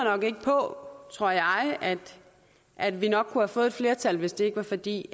på at vi nok kunne have fået et flertal hvis det ikke var fordi